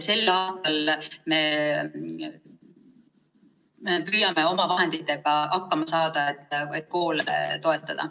Sel aastal me püüame oma vahenditega hakkama saada, et koole toetada.